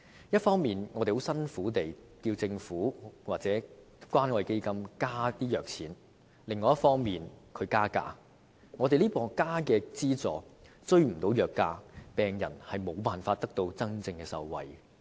一方面，我們很辛苦地要求政府或關愛基金增加藥物資助，但另一方面，藥廠卻加價，增加的資助追不上藥價，病人無法能真正受惠。